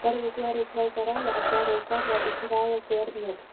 карл у клары украл кораллы а клара у карла украла кларнет